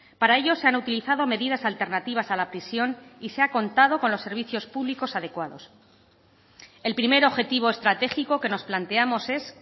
para ello se han utilizado medidas alternativas a la prisión y se ha contado con los servicios públicos adecuados el primer objetivo estratégico que nos planteamos es